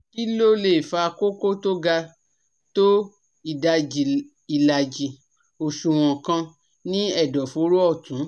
Kí ló lè fa kókó tó ga tó ìdajì ìlàjì òṣùwọ̀n kan ní ẹ̀dọ̀fóró ọ̀tún?